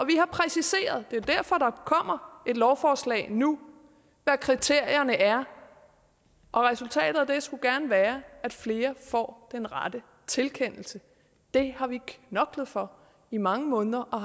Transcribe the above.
præciseret det er derfor der kommer et lovforslag nu hvad kriterierne er og resultatet af det skulle gerne være at flere får den rette tilkendelse det har vi knoklet for i mange måneder og